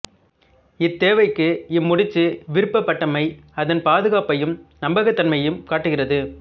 இத்தேவைக்கு இம் முடிச்சு விரும்பப்பட்டமை அதன் பாதுகாப்பையும் நம்பகத் தன்மையையும் காட்டுகிறது